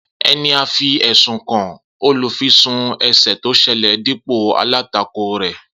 Eni a fi ẹsun kan olufisun ese to sele dipo alatako re